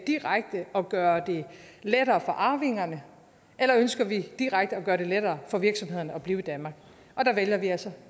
direkte at gøre det lettere for arvingerne eller ønsker vi direkte at gøre det lettere for virksomhederne at blive i danmark der vælger vi altså